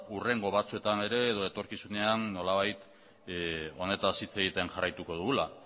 hurrengo batzuetan ere edo etorkizunean nolabait honetaz hitz egiten jarraituko dugula